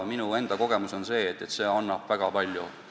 Minu enda kogemus on, et see aitab väga palju.